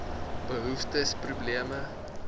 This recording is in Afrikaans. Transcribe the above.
behoeftes probleme